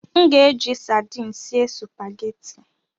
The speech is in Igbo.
M ga-eji sardin sie sụpaghetị.